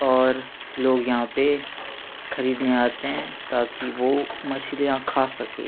और लोग यहाँ पे खरीदने आते है ताकि वो मछलिया खा सके--